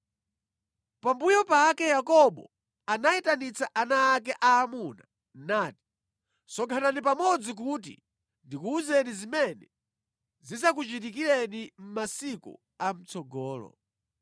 Pambuyo pake Yakobo anayitanitsa ana ake aamuna nati: Sonkhanani pamodzi kuti ndikuwuzeni zimene zidzakuchitikireni mʼmasiku a mʼtsogolo.